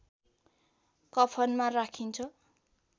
कफनमा राखिन्छ